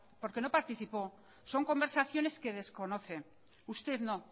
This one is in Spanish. porque no participó son conversaciones que desconoce